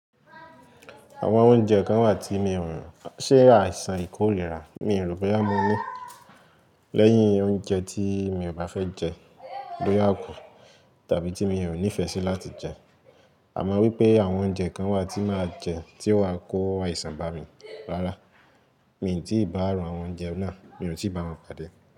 Àwọn oúnjẹ kan wà tí mi ò rò rí ṣe àìsàn ikú o le ra, mi ò rò bóyá mo ní. Lẹ́yìn oúnjẹ tí mi ò bá fẹ́ jẹ ló yà kù tàbí tí mi óò nífẹ̀ẹ́ sí láti jẹ. Àmọ́ wípé àwọn oúnjẹ kan wà tí màá jẹ tí ó wáa kó àìsàn bá mi rárá, mi ò tíì bá àwọn oúnjẹ náà, mi ò tíì bá wọn pàdé.